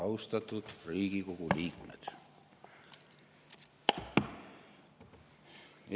Austatud Riigikogu liikmed!